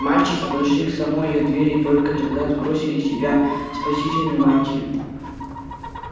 мальчики подошли к самой её двери и только тогда сбросили с себя спасительную мантию